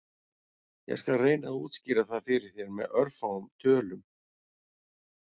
Ég skal reyna að útskýra það fyrir þér með örfáum tölum.